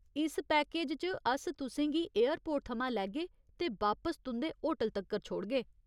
इस पैकेज च अस तु'सें गी एयरपोर्ट थमां लैग्गे ते बापस तुं'दे होटल तक्कर छोड़गे।